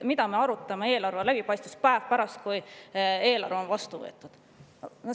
Miks arutada eelarve läbipaistvust päev pärast seda, kui eelarve on vastu võetud?